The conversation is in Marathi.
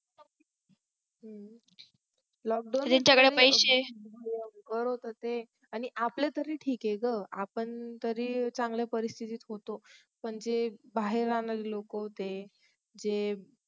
हे सगळं आणि आपल्या साठी ठीक आहे ना आपण चांगल्या परिस्थिठीत होतो पण जे बाहेर राहणारे लोक होते ते